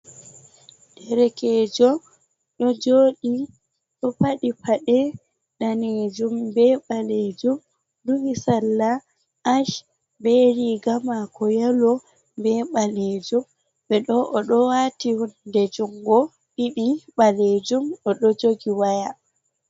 Derekeejo ɗo joɗi, ɗo padi paɗe daneejum be ɓaleejum. Duhi salla ach, be riga maako yelo be ɓaleejum. Ɓe ɗo o ɗo waati hunde jungo ɗiɗi ɓaleejum, o ɗo jogi waya.